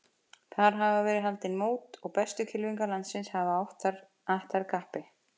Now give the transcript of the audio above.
Þar hafa verið haldin mót og bestu kylfingar landsins hafa att þar kappi.